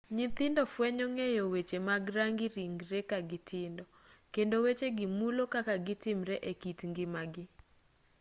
nyithindo fwenyo ng'eyo weche mag rangi ringree kagitindo kendo wechegi mulo kaka gitimre ekit ngimagi